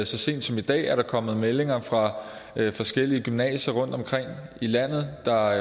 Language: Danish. sent som i dag er der kommet meldinger fra forskellige gymnasier rundtomkring i landet der